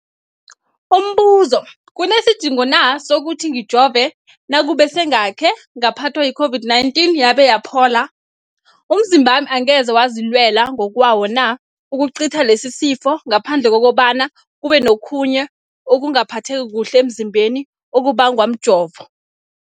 Umbuzo, kunesidingo na sokuthi ngijove nakube sengakhe ngaphathwa yi-COVID-19 yabe yaphola? Umzimbami angeze wazilwela ngokwawo na ukucitha lesisifo, ngaphandle kobana kube nokhunye ukungaphatheki kuhle emzimbeni okubangwa mjovo?